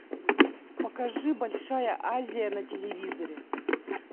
покажи большая азия на телевизоре